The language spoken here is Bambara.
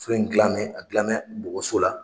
Fɛn in dilanmɛ, a dilanmɛ bɔgɔso la.